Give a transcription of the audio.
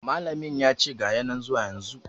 Malamin yace ga ya nan zuwa yanzun